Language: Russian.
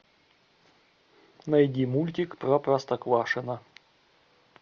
найди мультик про простоквашино